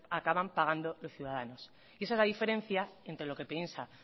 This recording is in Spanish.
acaban pagando los ciudadanos y esa es la diferencia entre lo que piensa